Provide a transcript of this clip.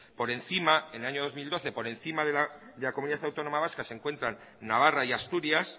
por encima de la comunidad autónoma vasca en el año dos mil doce se encuentran navarra y asturias